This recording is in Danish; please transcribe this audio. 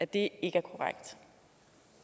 det